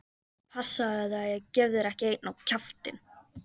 Passaðu þig að ég gefi þér ekki einn á kjaftinn!